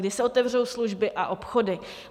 Kdy se otevřou služby a obchody?